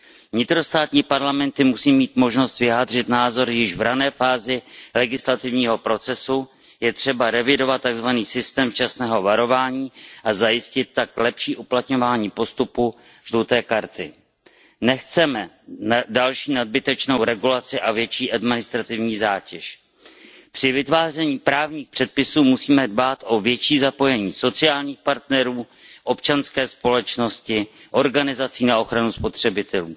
Vnitrostátní parlamenty musí mít možnost vyjádřit názor již v rané fázi legislativního procesu, je třeba revidovat takzvaný systém včasného varování a zajistit tak lepší uplatňování postupu žluté karty. Nechceme další nadbytečnou regulaci a větší administrativní zátěž. Při vytváření právních předpisů musíme dbát na větší zapojení sociálních partnerů, občanské společnosti, organizací na ochranu spotřebitelů.